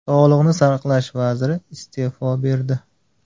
Sog‘liqni saqlash vaziri iste’fo berdi.